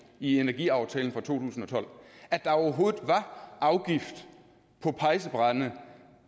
i energiaftalen fra to tusind og tolv at der overhovedet var afgift på pejsebrænde